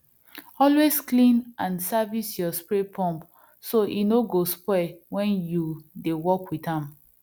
always clean and service your spray pump so e no go spoil when you dey work with am